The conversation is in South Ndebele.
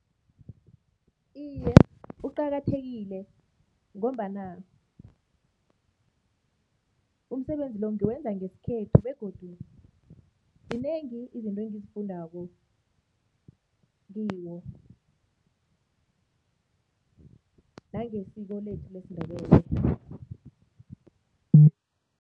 Iye, uqakathekile ngombana umsebenzi lo ngiwenza ngesikhethu begodu zinengi izinto engizifundako kiwo nangesiko lethu lesiNdebele.